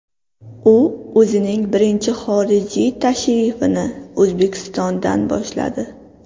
U o‘zining birinchi xorijiy tashrifini O‘zbekistondan boshladi .